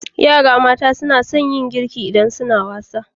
Yara mata suna sun yin girki idan suna wasa.